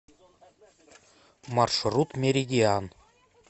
маршрут меридиан